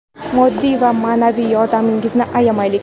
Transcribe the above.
moddiy va maʼnaviy yordamimizni ayamaylik.